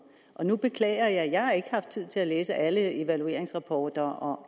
og nu beklager jeg jeg har ikke haft tid til at læse alle evalueringsrapporter og